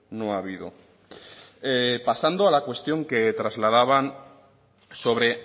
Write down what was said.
no ha habido pasando a la cuestión que trasladaban sobre